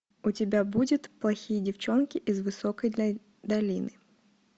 у тебя будет плохие девчонки из высокой долины